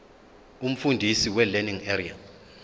umfundisi welearning area